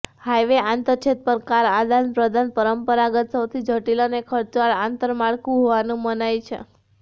highway આંતરછેદ પર car આદાનપ્રદાન પરંપરાગત સૌથી જટિલ અને ખર્ચાળ આંતરમાળખું હોવાનું મનાય છે